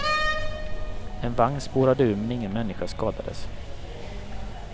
En vagn spårade ur men ingen människa skadades.